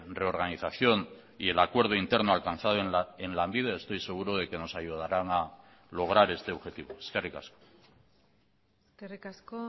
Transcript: reorganización y el acuerdo interno alcanzado en lanbide estoy seguro de que nos ayudaran a lograr este objetivo eskerrik asko eskerrik asko